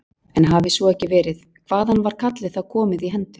En hafi svo ekki verið, hvaðan var kallið þá komið í hendur